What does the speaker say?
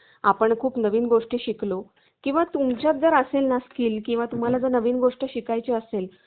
आपण खूप नवीन गोष्टी शिकलो किंवा तुमच्यात जर असेल ना skill किंवा तुम्हाला जर नवीन गोष्ट शिकायच्या असेल